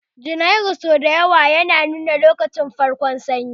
Janairu sau da yawa yana nuna farkon lokacin Sanyi